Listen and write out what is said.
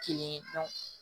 Kelen ye